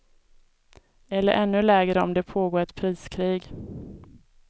Eller ännu lägre om det pågår ett priskrig.